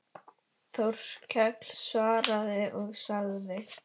Þórkell svaraði og sagði